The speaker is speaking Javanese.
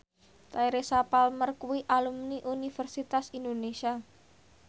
Teresa Palmer kuwi alumni Universitas Indonesia